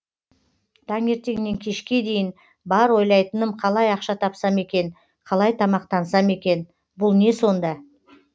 таңертеннен кешке дейін бар ойлайтыным қалай ақша тапсам екен қалай тамақтансам екен бұл не сонда